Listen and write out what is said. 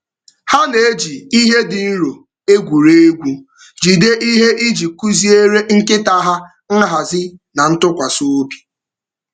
Ha na-eji ihe dị nro egwuri egwu jide ihe iji kụziere nkịta ha nhazi na ntụkwasị obi.